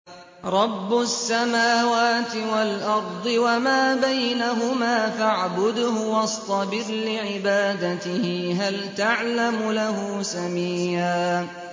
رَّبُّ السَّمَاوَاتِ وَالْأَرْضِ وَمَا بَيْنَهُمَا فَاعْبُدْهُ وَاصْطَبِرْ لِعِبَادَتِهِ ۚ هَلْ تَعْلَمُ لَهُ سَمِيًّا